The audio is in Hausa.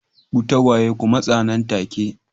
Ku tagwaye ku matsa nan take